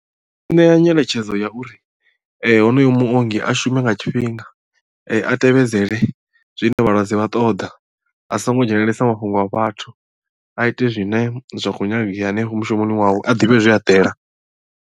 Ndi nga ṋea nyeletshedzo ya uri honoyo muongi a shume nga tshifhinga a tevhedzele zwine vhalwadze vha ṱoḓa a songo dzhenelelesa mafhungo a vhathu a ite zwine zwa khou nyangea hanefho mushumoni wawe a ḓivhe zwe a ḓela.